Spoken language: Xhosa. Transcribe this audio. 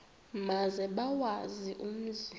maze bawazi umzi